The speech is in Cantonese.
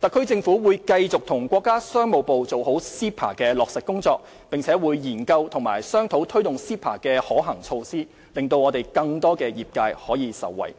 特區政府會繼續與國家商務部做好 CEPA 的落實工作，並會研究和商討推進 CEPA 的可行措施，讓更多業界可以受惠。